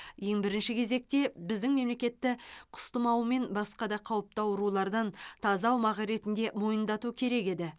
ең бірінші кезекте біздің мемлекетті құс тұмауы мен басқа да қауіпті аурулардан таза аумақ ретінде мойындату керек еді